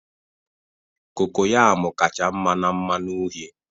cocoyam kacha mma na mmanụ uhie